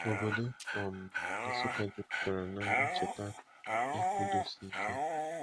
Obodo um Nsukka jupụtara na ncheta ikwudosike